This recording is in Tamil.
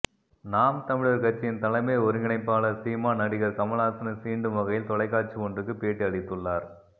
நாம் தமிழர் கட்சியின் தலைமை ஒருங்கிணைப்பாளர் சீமான் நடிகர் கமல்ஹாசனை சீண்டும் வகையில் தொலைக்காட்சி ஒன்றுக்கு பேட்டி அளித்துள்ளார்